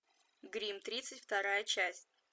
гримм тридцать вторая часть